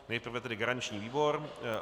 Nejprve tedy garanční výbor.